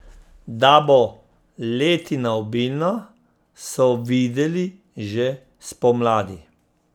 Da bo letina obilna, so videli že spomladi.